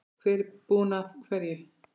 Hver er búinn að hverju?